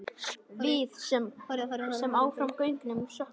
Við sem áfram göngum söknum.